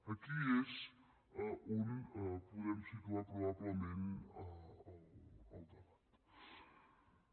aquí és on podem situar probablement el debat